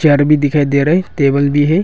घर भी दिखाई दे रहा है टेबल भी है।